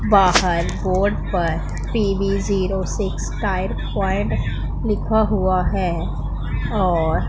बाहर बोर्ड पर TV zero six point लिखा हुआ है और--